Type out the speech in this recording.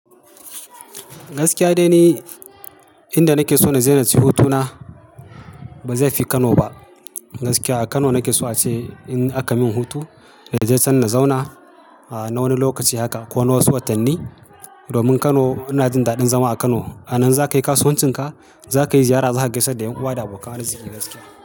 Gaskiya dai ni inda nake so na. Je naci hutuna ba zai fi Kano ba. Gaskiya a Kano nake so ace in aka min hutu na je can na zauna a na wani lokaci haka ko wasu wasu watanni. Domin Kano ina jin daɗin zama a Kano. A nan za ka yi kasuwancin ka, za ka yi ziyara, za ka gaisad da ƴan uwa da abokan arzike gaskiya.